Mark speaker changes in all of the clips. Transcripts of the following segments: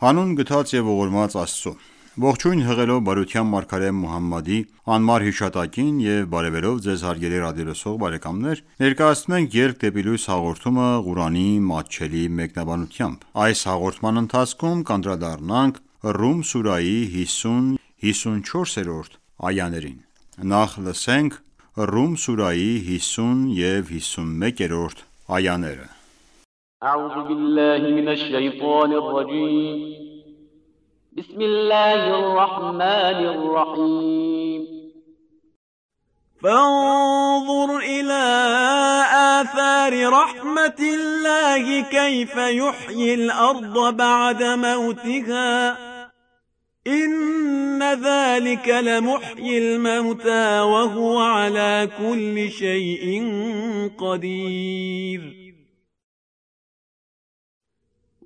Speaker 1: Հանուն գթած և ողորմած Աստծո:Ողջույն հղելով բարության մարգարե Մոհամմադի անմար հիշատակին եւ բարեւելով Ձեզ հարգելի ռադիոլսող բարեկամներ, ներկայացնում ենք «Ելք դեպի լույս» հաղորդումը, Ղուրանի մատչելի մեկնաբանությամբ: Ռում սուրահի 50-րդ և 51-րդ
Speaker 2: այաներ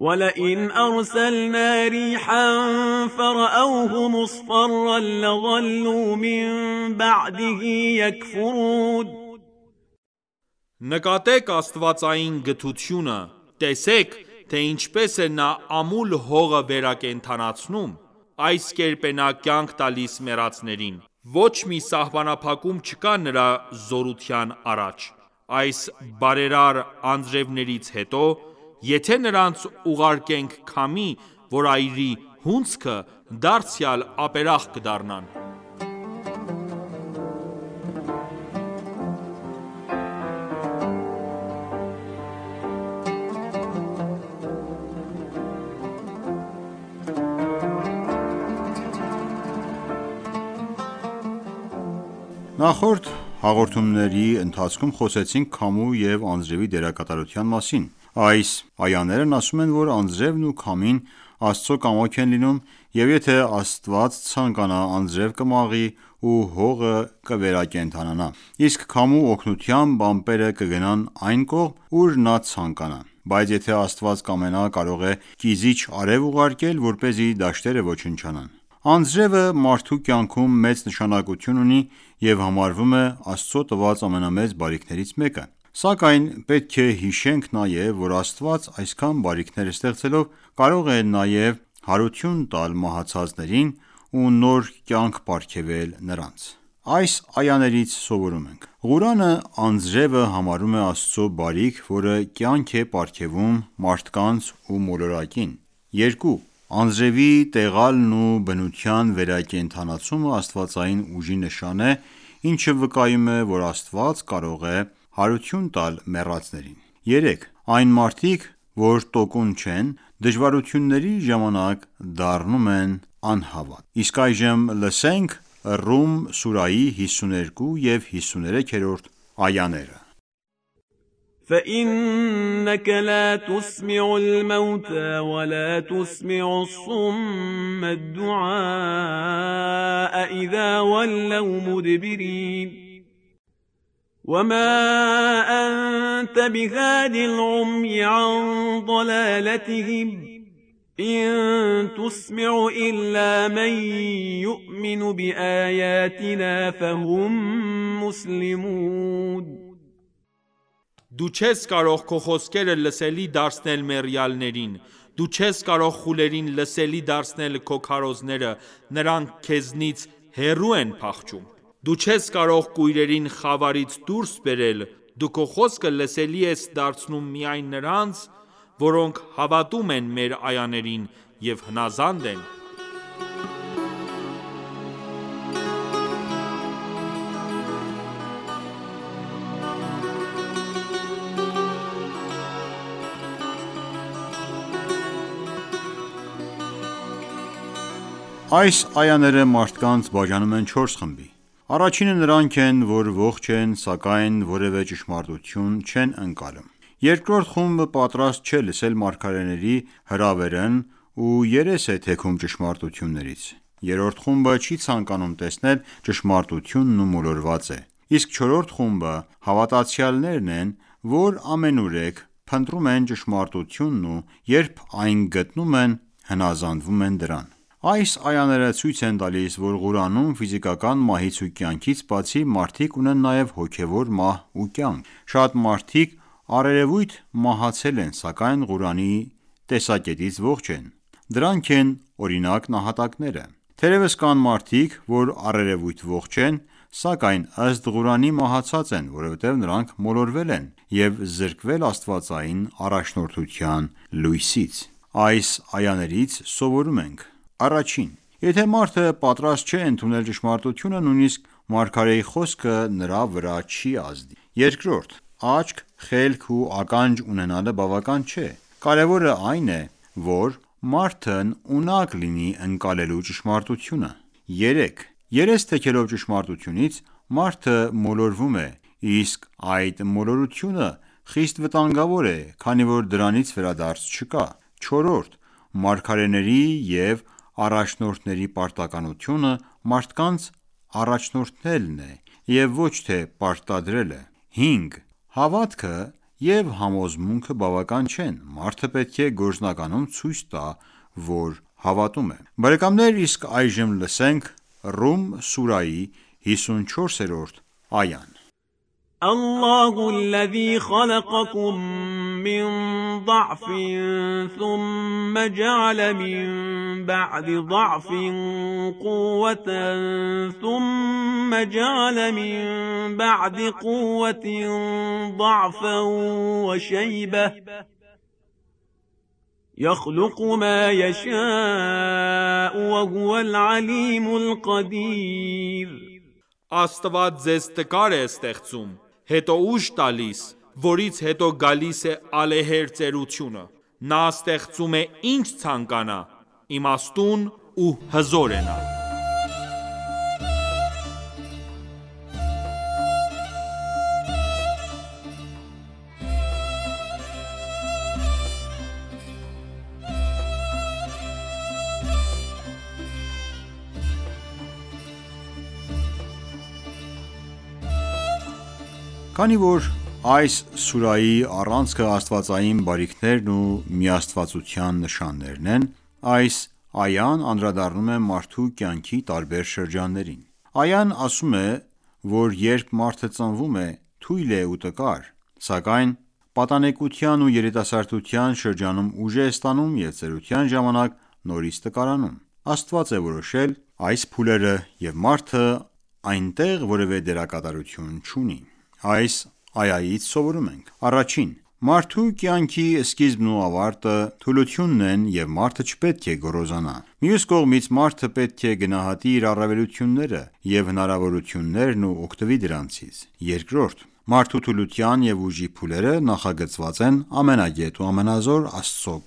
Speaker 2: وَلَئِنْ أَرْسَلْنَا رِیحًا فَرَأَوْهُ مُصْفَرًّا لَظَلُّوا مِنْ بَعْدِهِ یَکْفُرُونَ
Speaker 3: Նկատե՛ք աստվածային գթությունը, տեսե՛ք, թե ինչպես է Նա ամուլ հողը վերակենդանացնում: Այս կերպ է Նա կյանք տալիս մեռածներին: Ոչ մի սահմանափակում չկա Նրա զորության առաջ: (Այս բարերար անձրևներից հետո), եթե նրանց ուղարկենք քամի, որ այրի (հունձքը), դարձյալ ապերախտ կդառնան:
Speaker 1: Նախորդ հաղորդումների ընթացքում խոսեցինք քամու և անձրևի դերակատարության մասին: Այս այաներն ասում են, որ անձրևն ու քամին Աստծու կամոք են լինում և եթե Աստված ցանկանա, անձրև կմաղի ու հողը կվերակենդանանա: Իսկ քամու օգնությամբ, ամպերը կգնան այն կողմ, ուր Նա ցանկանա: Բայց եթե Աստված կամենա, կարող է կիզիչ արև ուղարկել, որպեսզի դաշտերը ոչնչանան: Անձրևը մարդու կյանքում մեծ նշանակություն ունի և համարվում է Աստծու տված ամենամեծ բարիքներից մեկը: Սակայն պետք է հիշենք նաև, որ Աստված, այսքան բարիքներ ստեղծելով, կարող է նաև հարություն տալ մահացածներին ու նոր կյանք պարգևել նրանց։ Այս այաներից սովորում ենք․ 1. Ղուրանն անձրևը համարում է Աստծու բարիք, որը կյանք է պարգևում մարդկանց ու մոլորակին։ 2. Անձրևի տեղալն ու բնության վերակենդանացումն աստվածային ուժի նշանն է, ինչը վկայում է, որ Աստված կարող է հարություն տալ մեռածներին։ 3. Այն մարդիկ, որ տոկուն չեն, դժվարությունների ժամանակ դառնում են անհավատ։ Ռում սուրահի 52-րդ և 53-րդ այաներ
Speaker 2: فَإِنَّکَ لَا تُسْمِعُ الْمَوْتَىٰ وَلَا تُسْمِعُ الصُّمَّ الدُّعَاءَ إِذَا وَلَّوْا مُدْبِرِینَ
Speaker 3: Դու չես կարող քո խոսքերը լսելի դարձնել մեռյալներին: Դու չես կարող խուլերին լսելի դարձնել քո քարոզները: Նրանք քեզնից հեռու են փախչում: Դու չես կարող կույրերին խավարից դուրս բերել: Դու քո խոսքը լսելի ես դարձնում միայն նրանց, որոնք հավատում են մեր այաներին և հնազանդ են:
Speaker 1: Այս այաները մարդկանց բաժանում են 4 խմբի: Առաջինը նրանք են, որ ողջ են սակայն որևէ ճշմարտություն չեն ընկալում: Երկրորդ խումբը պատրաստ չէ լսել մարգարեների հրավերն ու երես է թեքում ճշմարտություններից: Երրորդ խումբը չի ցանկանում տեսնել ճշմարտությունն ու մոլորված է: Իսկ չորրորդ խումբը հավատացյալներն են, որ ամենուրեք փնտրում են ճշմարտությունն ու երբ այն գտնում են, հնազանդվում են դրան: Այս այաները ցույց են տալիս, որ Ղուրանում, ֆիզիկական մահից ու կյանքից բացի, մարդիկ ունեն նաև հոգևոր մահ ու կյանք: Շատ մարդիկ առերևույթ մահացել են, սակայն Ղուրանի տեսակետից ողջ են: Դրանք են օրինակ նահատակները: Թերևս կան մարդիկ ,որ, առերևույթ ողջ են, սակայն ըստ Ղուրանի՝ մահացած են, որովհետև նրանք մոլորվել են և զրկվել աստվածային առաջնորդության լույսից։ Այս այաներից սովորում ենք․ 1. Եթե մարդը պատրաստ չէ ընդունել ճշմարտությունը, նույնիսկ մարգարեի խոսքը նրա վրա չի ազդի։ 2 .Աչք, խելք ու ականջ ունենալը բավական չէ: Կարևորը այն է, որ մարդն ունակ լինի ընկալելու ճշմարտությունը։ 3. Երես թեքելով ճշմարտությունից, մարդը մոլորվում է, իսկ այդ մոլորությունը խիստ վտանգավոր է, քանի որ դրանից վերադարձ չկա։ 4. Մարգարեների և առաջնորդների պարտականությունը մարդկանց առաջնորդելն է, և ոչ թե պարտադրելը։ 5. Հավատքը և համոզմունքը բավական չեն: Մարդը պետք է գործնականում ցույց տա, որ հավատում է։ Ռում սուրահի 54-րդ այա
Speaker 3: Աստված ձեզ տկար է ստեղծում, հետո ուժ տալիս, որից հետո գալիս է ալեհեր ծերությունը: Նա ստեղծում է ինչ ցանկանա: Իմաստուն ու հզոր է Նա:
Speaker 1: Քանի որ այս սուրահի առանցքն աստվածային բարիքներն ու միաստվածության նշաններն են, այս այան անդրադառնում է մարդու կյանքի տարբեր շրջաններին: Այան ասում է որ երբ մարդը ծնվում է, թույլ է ու տկար, սակայն պատանեկության ու երիտասարդության շրջանում ուժ է ստանում և ծերության ժամանակ նորից տկարանում: Աստված է որոշել այս փուլերը և մարդը այնտեղ որևէ դերակատարություն չունի: Այս այայից սովորում ենք․ 1. Մարդու կյանքի սկիզբն ու ավարտը թուլությունն են և մարդը չպետք է գոռոզանա: Մյուս կողմից, մարդը պետք է գնահատի իր առավելությունները և հնարավորություններն ու օգտվի դրանցից։ 2. Մարդու թուլության և ուժի փուլերը նախագծված են ամենագետ ու ամենազոր Աստծու